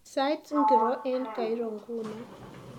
Sait ngiro eng kairo nguno